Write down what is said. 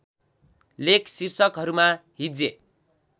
लेख शीर्षकहरूमा हिज्जे